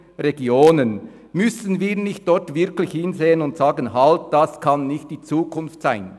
Müssten wir nicht wirklich hinsehen und sagen, das könne nicht die Zukunft sein?